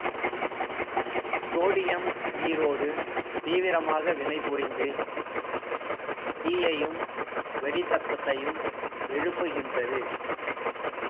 sodium நீரோடு தீவிரமாக வினை புரிந்து தீயையும் வெடிச் சத்தத்தையும் எழுப்புகின்றது